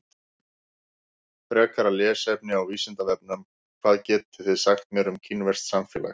Frekara lesefni á Vísindavefnum: Hvað getið þið sagt mér um kínverskt samfélag?